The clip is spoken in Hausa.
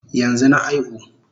Yanzu na aihu